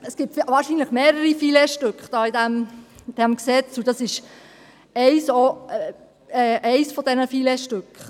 Es gibt wahrscheinlich mehrere Filetstücke in diesem Gesetz, und dies ist eines dieser Filetstücke.